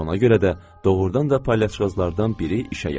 Elə ona görə də doğrudan da palyaçıqazlardan biri işə yaradı.